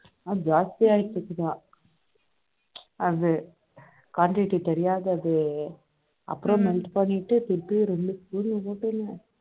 ஆனால் ஜாஸ்தியாயிட்டு இருக்குதா அது quantity தெரியாத அது melt பண்ணிட்டு திருப்பி இரண்டு spoon